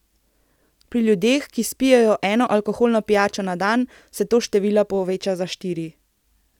Pri ljudeh, ki spijejo eno alkoholno pijačo na dan, se to število poveča za štiri.